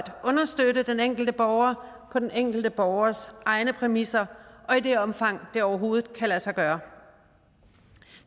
understøtte den enkelte borger på den enkelte borgers egne præmisser og i det omfang det overhovedet kan lade sig gøre